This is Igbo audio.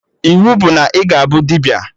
Iwu bụ na ị ga-abụ dibịa!